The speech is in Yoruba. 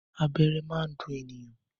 Abẹ́rẹ́ máa ń dùn ènìyàn.